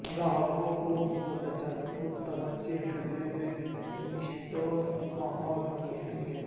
گاہکوں کو متوجہ کرنے میں اسٹور ماحول کے اہمیت